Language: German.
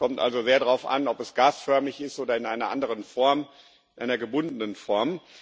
Es kommt also sehr darauf an, ob es gasförmig ist oder in einer anderen Form, einer gebundenen Form.